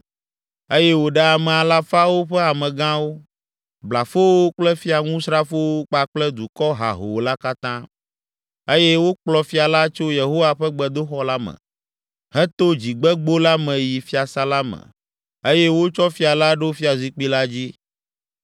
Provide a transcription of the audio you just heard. Eye wòɖe ame alafawo ƒe amegãwo, blafowo kple fiaŋusrafowo kpakple dukɔ hahoo la katã, eye wokplɔ fia la tso Yehowa ƒe gbedoxɔ la me, heto Dzigbegbo la me yi fiasã la me eye wotsɔ fia la ɖo fiazikpui la dzi.